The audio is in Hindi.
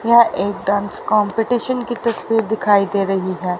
यह एक डांस कंपटीशन की तस्वीर दिखाई दे रही है।